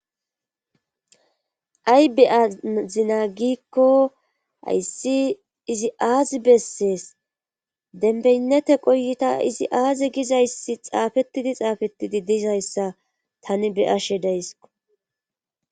ay be7a zinagikko hayssi izi aazi bessees denbeynnete qoyita izi aaze gizayssi xaafettidi xaafettidi diizayssa tani be ashe dayso